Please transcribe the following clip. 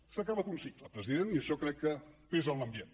s’ha acabat un cicle president i això crec que pesa en l’ambient